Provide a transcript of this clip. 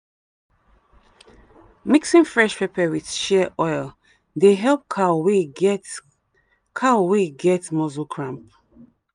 mixing fresh pepper with shea oil dey help cow wey get cow wey get muscle cramp.